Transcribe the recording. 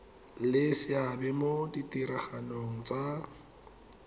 le seabe mo ditiragalong tsa